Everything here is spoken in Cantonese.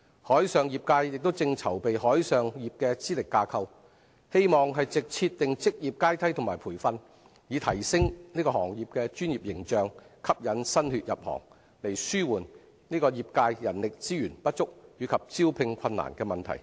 海上業界正籌備海上業資歷架構，希望藉設定職業階梯及培訓，提升行業的專業形象，吸引新血入行，以紓緩業界人力資源不足及招聘困難的問題。